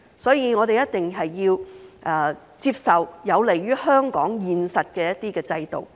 所以，我們一定要接受有利於香港現實的一些制度。